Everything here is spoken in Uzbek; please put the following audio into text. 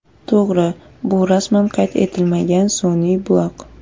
To‘g‘ri, bu rasman qayd etilmagan sun’iy buloq.